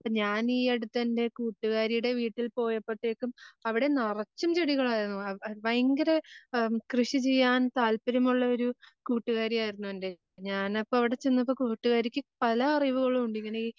ഞാനീ അടുത്തെന്റെ കൂട്ടുകാരിയുടെ വീട്ടിൽ പോയപ്പത്തേയ്ക്കും അവിടെ നറച്ചു ചെടികളായിരുന്നു.ആഹ് ഭയങ്കര ആഹ് കൃഷി ചെയ്യാൻ താല്പര്യമുള്ളൊരു കൂട്ടുകാരിയായിരുന്നു എൻറെ ഞാനപ്പം അവിടെ ചെന്നപ്പം കൂട്ടുകാരിക്ക് പല അറിവുകളും ഉണ്ട് ഇതിനീ